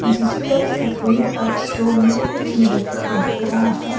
जिस पर सफेद अक्छरों में कुछ लिखा हुआ है।